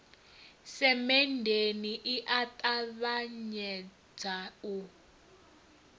semenndeni i a ṱavhanyedza u